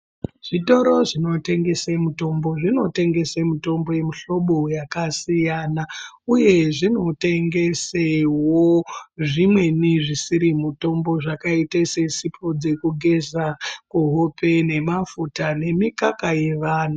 Zvitoro zvinotengese mutombo zvinotengese mutombo yemihlobo yakasiyana. Uye zvinotengesewo zvimweni zvisiri mutombo zvakaite sesipo dzekugeza kuhope nemafuta nemikaka yevana.